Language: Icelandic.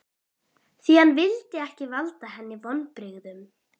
Því hann vildi ekki valda henni vonbrigðum.